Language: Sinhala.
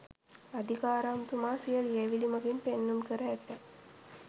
අදිකාරම්තුමා සිය ලියැවිලි මඟින් පෙන්නුම් කර ඇත